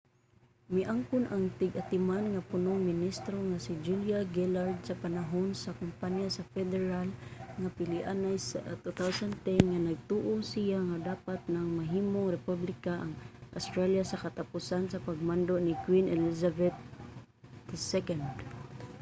miangkon ang tig-atiman nga punong ministro nga si julia gillard sa panahon sa kampanya sa federal nga pilianay sa 2010 nga nagtuo siya nga dapat nang mahimong republika ang australia sa katapusan sa pagmando ni queen elizabeth ii